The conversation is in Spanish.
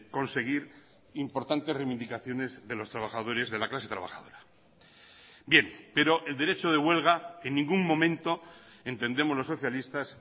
conseguir importantes reivindicaciones de los trabajadores de la clase trabajadora bien pero el derecho de huelga en ningún momento entendemos los socialistas